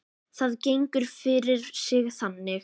Það gengur fyrir sig þannig